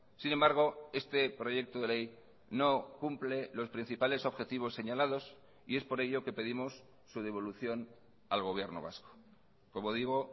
sin embargo este proyecto de ley no cumple los principales objetivos señalados y es por ello que pedimos su devolución al gobierno vasco como digo